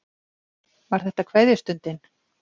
Var þetta kveðjustundin?